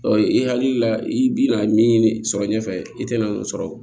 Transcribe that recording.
i hakili la i bi na min sɔrɔ ɲɛfɛ i te na sɔrɔ